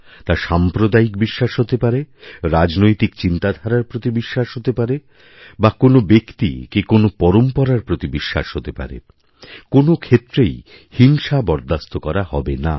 তাসাম্প্রদায়িক বিশ্বাস হতে পারে রাজনৈতিক চিন্তাধারার প্রতি বিশ্বাস হতে পারে বাকোনো ব্যক্তি কি কোনো পরম্পরার প্রতি বিশ্বাস হতে পারে কোনো ক্ষেত্রেই হিংসাবরদাস্ত করা হবে না